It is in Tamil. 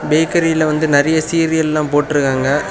பேக்கரில வந்து நெறைய சீரியல்ல போட்ருகாங்க.